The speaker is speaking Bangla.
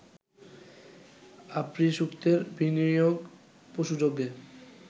আপ্রীসূক্তের বিনিয়োগ পশুযজ্ঞে